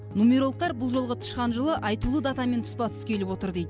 нумерологтар бұл жолғы тышқан жылы айтулы датамен тұспа тұс келіп отыр дейді